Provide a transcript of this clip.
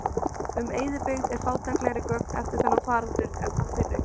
Um eyðibyggð eru fátæklegri gögn eftir þennan faraldur en þann fyrri.